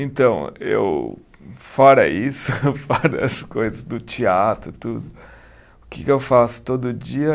Então, eu fora isso, fora as coisas do teatro tudo, o que que eu faço todo dia?